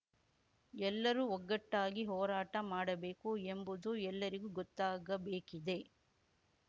ಎಲ್ಲರೂ ಒಗ್ಗಟ್ಟಾಗಿ ಹೋರಾಟ ಮಾಡಬೇಕು ಎಂಬುದು ಎಲ್ಲರಿಗೂ ಗೊತ್ತಾಗಬೇಕಿದೆ